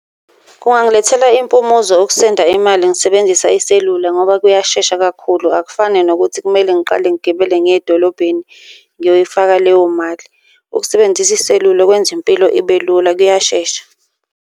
Kungangilethela impumuzo ukusenda imali ngisebenzisa iselula, ngoba kuyashesha kakhulu akufani nokuthi kumele ngiqale ngigibele ngiye edolobheni ngiyoyifaka leyo mali. Ukusebenzisa iselula kwenza impilo ibe lula kuyashesha.